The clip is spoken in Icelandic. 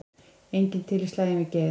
Enginn til í slaginn við Geir